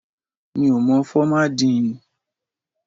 Mi ò mọ fọ́má díì ǹ.